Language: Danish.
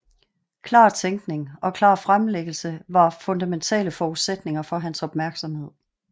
Klar tænkning og klar fremlæggelse var fundamentale forudsætninger for hans opmærksomhed